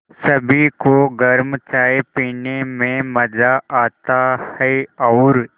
सभी को गरम चाय पीने में मज़ा आता है और